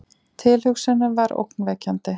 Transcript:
Tilhugsunin var ógnvekjandi.